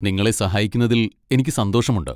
നിങ്ങളെ സഹായിക്കുന്നതിൽ എനിക്ക് സന്തോഷമുണ്ട്.